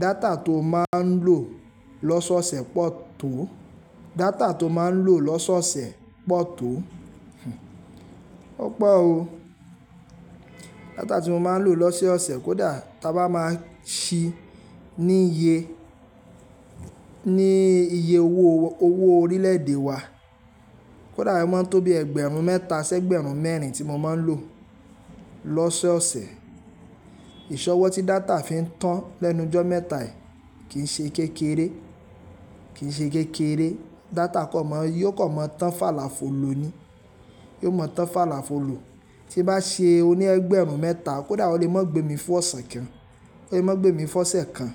Data tó má n lò lọ́sọ̀ọ̀sẹ̀ pọ̀ tó, data tó má n lò lọ́sọ̀ọ̀sẹ̀ pọ̀ tó, ó pọ̀ o. Data tí mo má n lò lọ́sẹ́ ọ̀sẹ̀ kó dà taba máa sí ní iye, ní iye owó, owó orílẹ̀ èdè wa. Kó dà o mọ́n tó bí ẹgbẹ̀rún mẹ́ta si ẹ́gbẹ̀rún mẹ́rin tí mo má n lò lọ́sẹ́ ọ̀sẹ̀. Ìṣọwọ́ tí data fi ń tán lẹ́nu jọ́ mẹ́ta yìí kìí ṣe kékeré, kìí ṣe kékeré. Data kò mọ̀ yóò kò mọ̀ tán fàlàfolo ni, yóò mọ̀ tán fàlàfolo. Tí n bá ṣe oní ẹgbẹ̀rún mẹ́ta kó dà o lè mọ́ gbé mi fún ọ̀sẹ̀ kan, o lè mọ́ gbé mi fún ọ̀sẹ̀ kan.